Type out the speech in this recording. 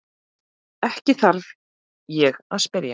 Ekki þarf ég að spyrja.